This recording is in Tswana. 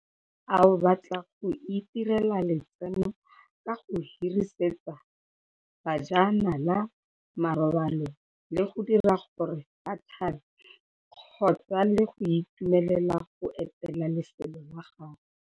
Ao batla go itirela letseno ka go hirisetsa bajanala marobalo le go dira gore ba tlhabe kgobe le go itumelela go etela lefelo la gago?